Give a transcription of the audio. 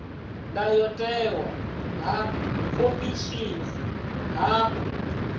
ndayotewa ha khomishini ha u